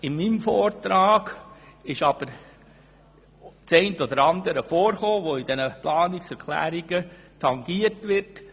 In meinem Vortrag habe ich allerdings den einen oder anderen Punkt ausgeführt, der in einzelnen Planungserklärungen tangiert wird.